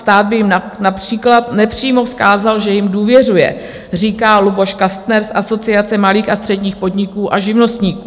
Stát by jim například nepřímo vzkázal, že jim důvěřuje, říká Luboš Kastner z Asociace malých a středních podniků a živnostníků.